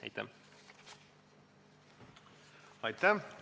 Aitäh!